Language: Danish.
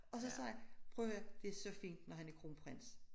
Og så sagde jeg prøv at hør det er så fint når han er kronprins